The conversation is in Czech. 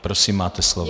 Prosím, máte slovo.